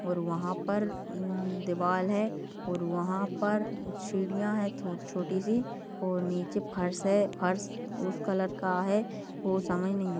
और वहाँ पर दीवार है और वहाँ पर शिडिया है छोटी सी और निचे फर्श है फर्श उस कलर का है वो नहीं है।